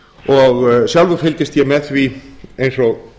og sjálfur fylgist ég með því eins og